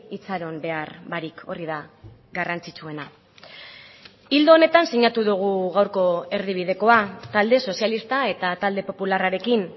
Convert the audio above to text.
itxaron behar barik hori da garrantzitsuena ildo honetan sinatu dugu gaurko erdibidekoa talde sozialista eta talde popularrarekin